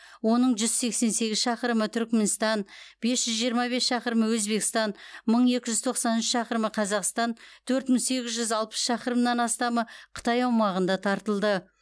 оның жүз сексен сегіз шақырымы түрікменстан бес жүз жиырма бес шақырымы өзбекстан мың екі жүз тоқсан үш шақырымы қазақстан төрт мың сегіз жүз алпыс шақырымнан астамы қытай аумағында тартылды